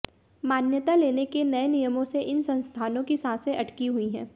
मान्यता लेने के नये नियमों से इन संस्थानों की सांसें अटकी हुई हैं